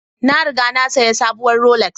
Na riga na sayi sabuwar Rolex